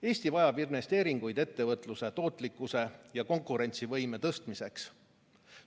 Eesti vajab investeeringuid ettevõtluse tootlikkuse ja konkurentsivõime parandamiseks.